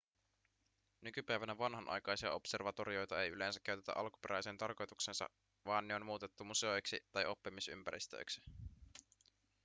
nykypäivänä vanhanaikaisia observatorioita ei yleensä käytetä alkuperäiseen tarkoitukseensa vaan ne on muutettu museoiksi tai oppimisympäristöiksi